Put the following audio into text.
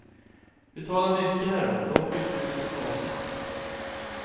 Vi talade mycket härom dock utan att vinna klarhet.